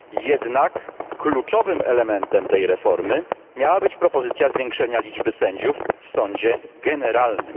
Jednak kluczowym elementem tej reformy miała być propozycja zwiększenia liczby sędziów w sądzie generalnym.